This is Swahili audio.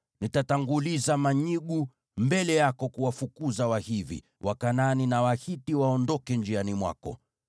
Nitatanguliza manyigu mbele yako kuwafukuza Wahivi, Wakanaani na Wahiti waondoke njiani mwako.